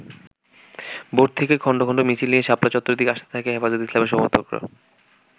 ভোর থেকেই খন্ড খন্ড মিছিল নিয়ে শাপলা চত্বরের দিকে আসতে থাকে হেফাজতে ইসলামের সমর্থকরা।